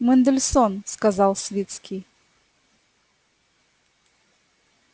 мендельсон сказал свицкий